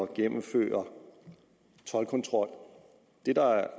genindføre toldkontrol